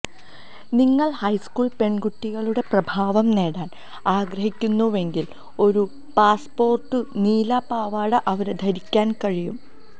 നിങ്ങൾ ഹൈസ്കൂൾ പെൺകുട്ടികളുടെ പ്രഭാവം നേടാൻ ആഗ്രഹിക്കുന്നുവെങ്കിൽ ഒരു പാസ്സ്പോര്ട്ടു നീല പാവാട അവരെ ധരിക്കാൻ കഴിയും